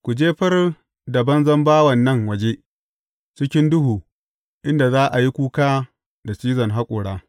Ku jefar da banzan bawan nan waje, cikin duhu, inda za a yi kuka da cizon haƙora.’